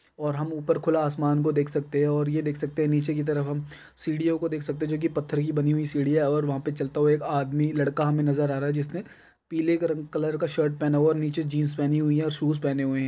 और हम खुला आसमान को देख सकते है और ये देख सकते है नीचे की तरफ हम सीढ़ियों को देख सकते है जो की पत्थर की बनी हुई सीढ़िया है और वहां पे चलता हुआ आदमी लड़का हमे नजर आ रहा है जिसने पीले कलर का शर्ट पहना हुआ है और नीचे जीन्स पहनी हुई है और शूज पहने हुए है।